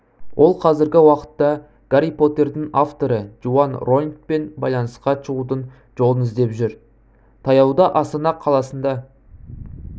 ол қазіргі уақытта гарри поттердің авторы джоан роулингпен байланысқа шығудың жолын іздеп жүр таяуда астана қаласында